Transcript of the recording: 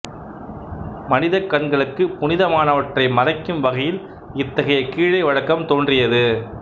மனிதக் கண்களுக்கு புனிதமானவற்றை மறைக்கும் வகையில் இத்தகைய கீழை வழக்கம் தோன்றியது